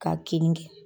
K'a kin kɛ